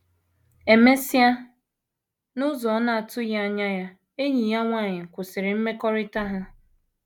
E mesịa, n’ụzọ ọ na - atụghị anya ya, enyi ya nwanyị kwụsịrị mmekọrịta ha.